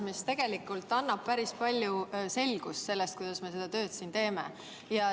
Kommentaarid", mis annab päris palju selgust selle kohta, kuidas me seda tööd siin teeme.